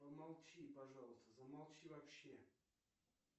помолчи пожалуйста замолчи вообще